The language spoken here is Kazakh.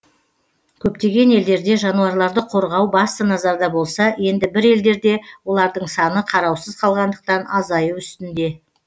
көптеген елдерде жануарларды қорғау басты назарда болса енді бір елдерде олардың саны қараусыз қалғандықтан азаю үстінде